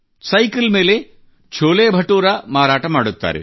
cycle ಮೇಲೆ ಛೋಲೆ ಬಟುರಾ ಮಾರಾಟ ಮಾಡುತ್ತಾರೆ